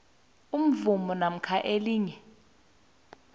imvumo namkha elinye